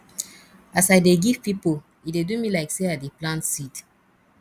as i dey give pipo e dey do me like sey i dey plant seed